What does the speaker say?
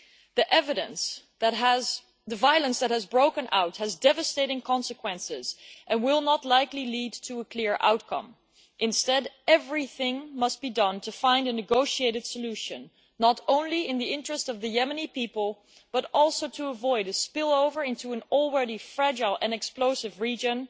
The violence that has broken out has devastating consequences and will not likely lead to a clear outcome. Instead, everything must be done to find a negotiated solution, not only in the interest of the Yemeni people, but also to avoid a spillover into an already fragile and explosive region